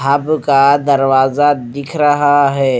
अब का दरवाजा दिख रहा है।